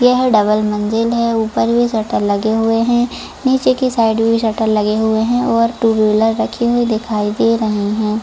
यह है डबल मंजिल है ऊपर भी शटर लगे हुए हैं नीचे की साइड भी शटर लगे हुए है और टू व्हीलर रखी हुई दिखाई दे रही है।